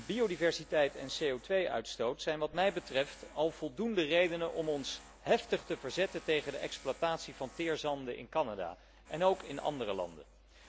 Biodiversiteit en CO 2 uitstoot zijn wat mij betreft al voldoende redenen om ons heftig te verzetten tegen de exploitatie van teerzanden in Canada, en ook in andere landen.